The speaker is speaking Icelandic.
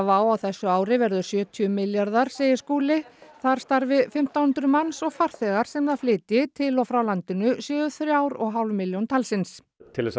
á þessu ári verður sjötíu milljarðar segir Skúli þar starfi fimmtán hundruð manns og farþegar sem það flytji til og frá landinu séu þrjár og hálf milljón talsins til